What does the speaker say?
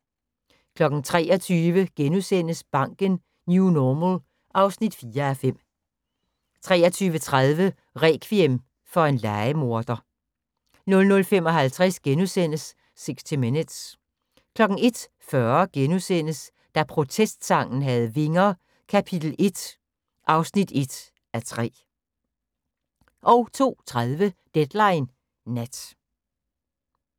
23:00: Banken - New Normal (4:5)* 23:30: Rekviem for en lejemorder 00:55: 60 Minutes * 01:40: Da protestsangen havde vinger - kap. 1 (1:3)* 02:30: Deadline Nat